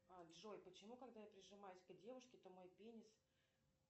джой почему когда я прижимаюсь к девушке то мой пенис